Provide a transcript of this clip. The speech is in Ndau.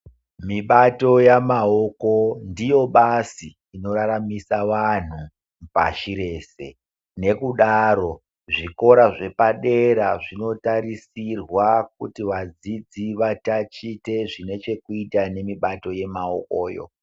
Mibato yemaoko ndiro bazi rinoraramisa antu pashi rese, nokudaro zvikora zvepadera zvinotarisirwa kuti vadzidzi vatatiche zvinechekuita nemibato yemaokoyo.